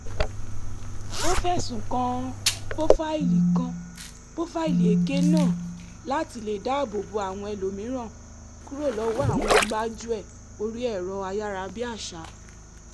ó fẹ̀sùn kan pófáìlì kan pófáìlì èké náà láti lè dáàbò bo àwọn ẹlòmíràn kúrò lọ́wọ́ àwọn gbájúẹ̀ orí ẹ̀rọ ayárabíàṣá